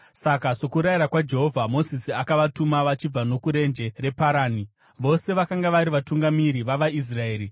Saka, sokurayira kwaJehovha, Mozisi akavatuma vachibva nokurenje reParani. Vose vakanga vari vatungamiri vavaIsraeri.